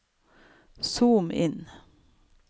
zoom inn